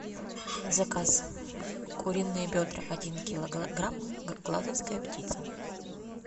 заказ куриные бедра один килограмм глазовская птица